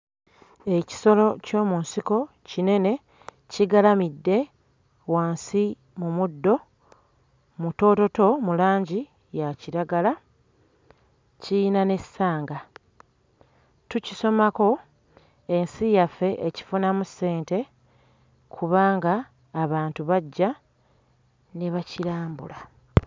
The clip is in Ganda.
Ekisolo ky'omu nsiko kinene kigalamidde wansi mu muddo mutoototo mu langi ya kiragala, kiyina n'essanga. Tukisomako, ensi yaffe ekifunamu ssente kubanga abantu bajja ne bakirambula.